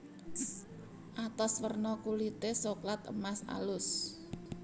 Atos werna kulite soklat emas alus